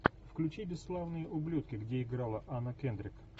включи бесславные ублюдки где играла анна кендрик